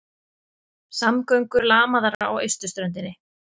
Samgöngur lamaðar á austurströndinni